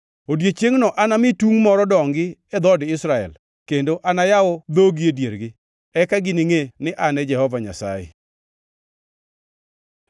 “Odiechiengno anami tungʼ moro dongi e dhood Israel, kendo anayaw dhogi e diergi. Eka giningʼe ni An e Jehova Nyasaye.”